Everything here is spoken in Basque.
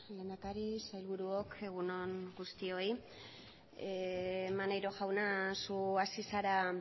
lehendakari sailburuok egun on guztioi maneiro jauna zu hasi zara